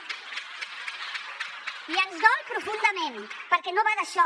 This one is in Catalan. i ens dol profundament perquè no va d’això